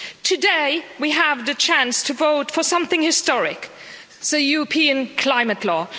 Today we have the chance to vote for something historic the European Climate Law.